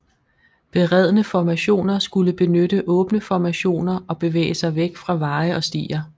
Beredne formationer skulle benytte åbne formationer og bevæge sig væk fra veje og stier